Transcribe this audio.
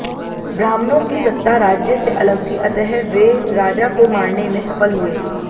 ब्राह्मणों की सत्ता राज्य से अलग थी अतः वे राजा को मारने में सफल हुए